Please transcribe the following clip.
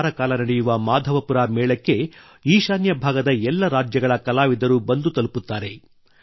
ಒಂದು ವಾರ ಕಾಲ ನಡೆಯುವ ಮಾಧವಪುರ ಮೇಳಕ್ಕೆ ಈಶಾನ್ಯ ಭಾಗದ ಎಲ್ಲ ರಾಜ್ಯಗಳ ಕಲಾವಿದರು ಬಂದು ತಲುಪುತ್ತಾರೆ